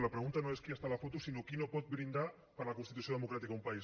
la pregunta no és qui hi ha a la foto sinó qui no pot brindar per la constitució democràtica d’un país